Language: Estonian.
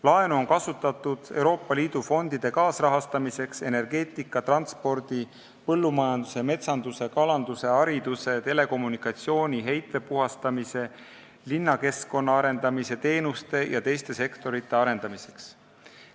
Laenu on kasutatud Euroopa Liidu fondide kaasrahastamiseks, energeetika, transpordi, põllumajanduse, metsanduse, kalanduse, hariduse, telekommunikatsiooni jt sektorite ja teenuste arendamiseks, ka heitvee puhastamiseks ning linnakeskkonna arendamiseks.